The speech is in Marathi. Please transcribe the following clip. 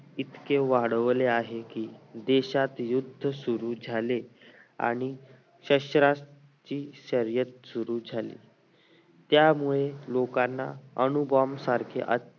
इतके वाढवले आहे की देशात युद्ध सुरु झाले आणि शस्त्राची शर्यत सुरु झाली त्यामुळे लोकांना अनु bomb सारखे